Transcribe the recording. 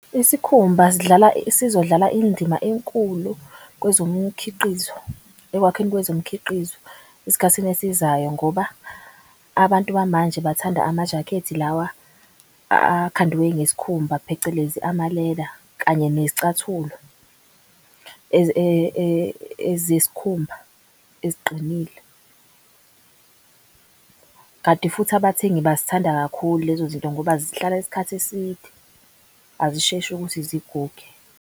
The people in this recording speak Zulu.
Isikhumba sizodlala indima enkulu kwezo mkhiqizo ekwakheni kwezo mkhiqizo esikhathini esizayo. Ngoba abantu bamanje bathanda amajakhethi lawa akhandwe ngesikhumba, phecelezi amaleda kanye nezicathulo ezesikhumba eziqinile. Kanti futhi abathengi bazithanda kakhulu lezo zinto ngoba zihlala isikhathi eside azisheshi ukuthi ziguge.